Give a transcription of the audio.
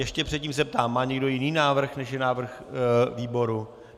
Ještě předtím se ptám: má někdo jiný návrh, než je návrh výboru?